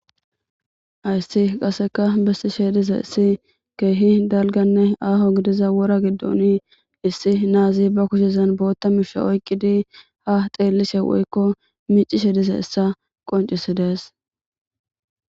ayssi qaseka bessi shediza issi keehi dalganne aaho gidiza wora giddoni issi naazi ba kushezan bootta misha oyqqidi ha xeellise woykko miicishe dizayissa qoncisidees